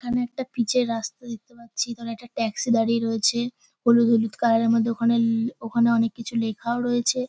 এখানে একটা পিচ -এর রাস্তা দেখতে পাচ্ছি এখানে একটা ট্যাক্সি দাড়িয়ে রয়েছে হলুদ হলুদ কালার -এর মধ্যে ওখানে ল ওখানে অনেক কিছু লেখাও রয়েছে।